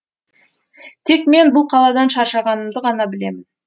тек мен бұл қаладан шаршағанымды ғана білемін